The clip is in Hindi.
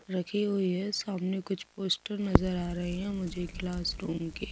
रखी हुई है। सामने कुछ पोस्टर नजर आ रहे हैं मुझे क्लास रूम के।